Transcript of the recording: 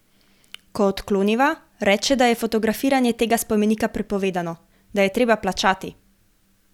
Ko odkloniva, reče, da je fotografiranje tega spomenika prepovedano, da je treba plačati.